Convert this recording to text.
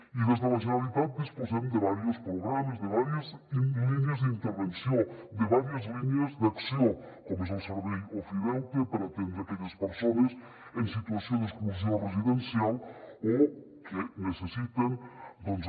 i des de la generalitat disposem de diversos programes de diverses línies d’intervenció de diverses línies d’acció com és el servei ofideute per atendre aquelles persones en situació d’exclusió residencial o que necessiten doncs